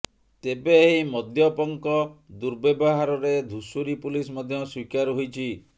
ତେବେ ଏହି ମଦପ୍ୟଙ୍କ ର୍ଦୁବ୍ୟବହାରରେ ଧୁଷୁରୀ ପୁଲିସ ମଧ୍ୟ ସ୍ୱୀକାର ହୋଇଛି